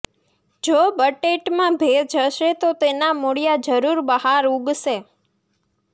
જો બટેટમાં ભેજ હશે તો તેના મૂળીયા જરુર બહાર ઉગશે